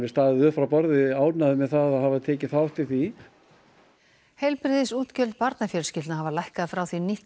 staðið upp frá borði ánægður með að hafa tekið þátt í því heilbrigðisútgjöld barnafjölskyldna hafa lækkað frá því nýtt